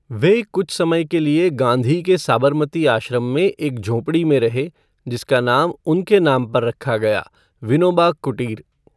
वह कुछ समय के लिए गाँधी के साबरमती आश्रम में एक झोपड़ी में रहे, जिसका नाम उनके नाम पर रखा गया, 'विनोबा कुटीर'।